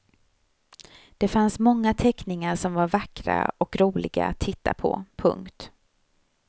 Det fanns många teckningar som var vackra och roliga att titta på. punkt